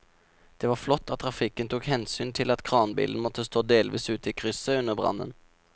Det var flott at trafikken tok hensyn til at kranbilen måtte stå delvis ute i krysset under brannen.